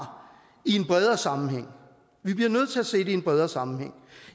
i en bredere sammenhæng vi bliver nødt til at se det i en bredere sammenhæng